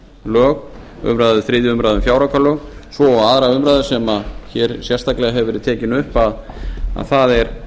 fjáraukalög þriðju umræðu um fjáraukalög svo og annarrar umræðu sem hér hefur sérstaklega verið tekin upp og það er